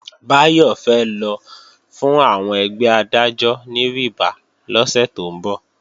Báyọ̀ fẹ́ lọ fún àwọn ẹgbẹ́ Adájọ́ ní rìbá lọ́sẹ̀ tó ń bọ̀